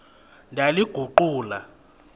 ndaliguqula